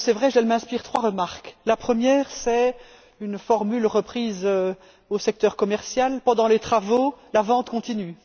Elle m'inspire trois remarques la première c'est une formule reprise au secteur commercial Pendant les travaux, la vente continue.